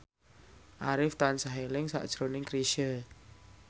Arif tansah eling sakjroning Chrisye